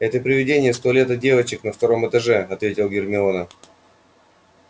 это привидение из туалета девочек на втором этаже ответил гермиона